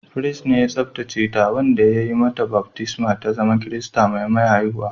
Firist ne ya tsabtace ta, wanda ya yi mata baftisma ta zama Kirista mai maya haihuwa